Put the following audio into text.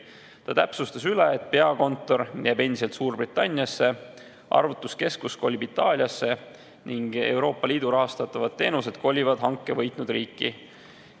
Ta täpsustas üle, et peakontor jääb endiselt Suurbritanniasse, arvutuskeskus kolib Itaaliasse ning Euroopa Liidu rahastatavad teenused kolivad hanke võitnud riiki.